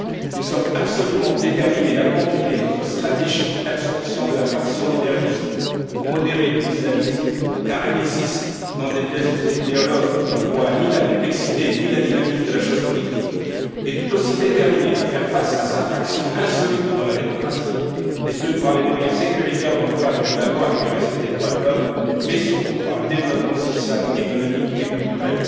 Nous sommes absolument déterminés à continuer notre stratégie d'absorption de la fraction moderniste, modérée de l'islamisme car elle existe, n'en déplaise aux idéologues qui ne voient ni la complexité, ni la dynamique de la chose politique et tout aussi déterminés à faire face à sa fraction insoluble dans la démocratie, et ce par les moyens sécuritaires dans le cadre de la loi et du respect des droits de l'homme, mais surtout par le développement social, économique et culturel.